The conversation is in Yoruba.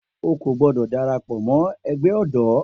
O kò gbọ́dọ̀ darapọ̀ mọ ẹgbẹ́ ọ̀dọ́.